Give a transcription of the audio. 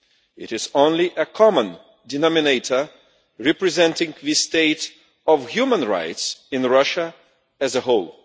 It is only a common denominator representing the state of human rights in Russia as a whole.